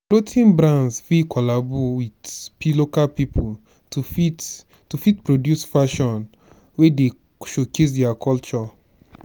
clothing brands fit collabo with local pipo to fit to fit produce fashion wey dey showcase their culture